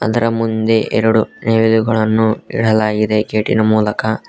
ಇದರ ಮುಂದೆ ಎರಡು ನವಿಲುಗಳನ್ನು ಇಡಲಾಗಿದೆ ಗೇಟ್ ಇನ ಮೂಲಕ.